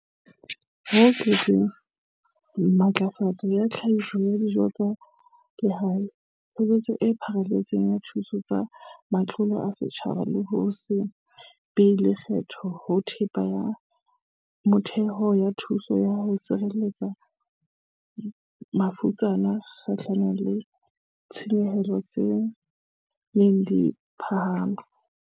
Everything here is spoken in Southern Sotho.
Ho tlatselletseng matlafatso ya tlhahiso ya dijo tsa lehae, tshebetso e pharelletseng ya dithuso tsa matlole a setjhaba le ho se be le lekgetho ho thepa ya motheo ho thuso ho sireletsa mafutsana kgahlanong le ditshenyehelo tse ntseng di phahama.